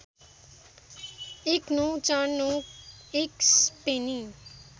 १९४९ एक स्पेनी